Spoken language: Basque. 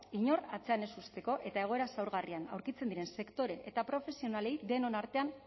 inor atzean ez uzteko eta egoera zaurgarrien aurkitzen diren sektore eta profesionalei denon artean